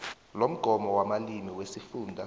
lomgomo wamalimi wesifunda